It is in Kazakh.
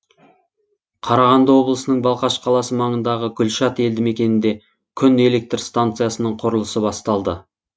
қарағанды облысының балқаш қаласы маңындағы гүлшат елді мекенінде күн электр станциясының құрылысы басталды